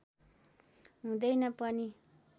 हुँदैन पनि